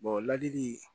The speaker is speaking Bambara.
ladili